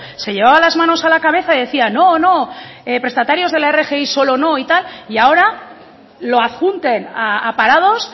se llevaba las manos a la cabeza y decía no no prestatarios de la rgi solo no y tal y ahora lo adjunten a parados